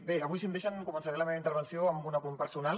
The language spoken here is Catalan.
bé avui si em deixen començaré la meva intervenció amb un apunt personal